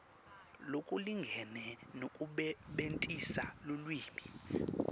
lokulingene nekusebentisa lulwimi